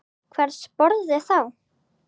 Hvers borði þá?